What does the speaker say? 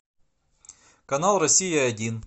канал россия один